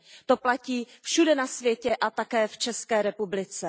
To platí všude na světě a také v České republice.